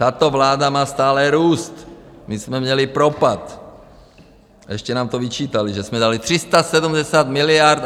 Tato vláda má stále růst, my jsme měli propad a ještě nám to vyčítali, že jsme dali 370 miliard.